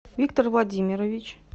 виктор владимирович